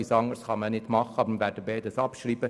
Deshalb kann man nichts anderes tun.